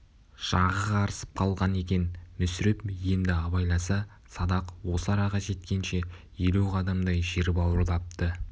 жағы қарысып қалған екен мүсіреп енді абайласа садақ осы араға жеткенше елу қадамдай жер бауырлапты